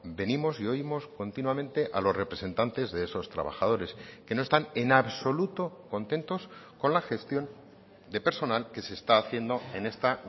venimos y oímos continuamente a los representantes de esos trabajadores que no están en absoluto contentos con la gestión de personal que se está haciendo en esta